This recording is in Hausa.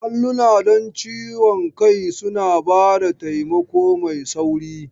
Allunan don ciwon kai suna ba da taimako mai sauri.